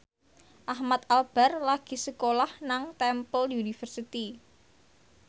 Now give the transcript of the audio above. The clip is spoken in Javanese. Ahmad Albar lagi sekolah nang Temple University